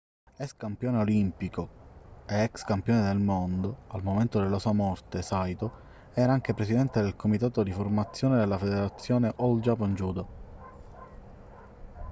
ex campione olimpico e ex campione del mondo al momento della sua morte saito era anche presidente del comitato di formazione della federazione all japan judo